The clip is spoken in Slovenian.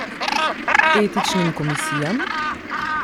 Etičnim komisijam?